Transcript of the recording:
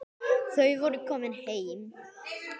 Þau voru komin heim.